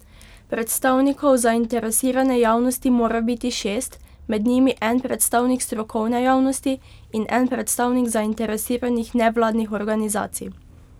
Predstavnikov zainteresirane javnosti mora biti šest, med njimi en predstavnik strokovne javnosti in en predstavnik zainteresiranih nevladnih organizacij.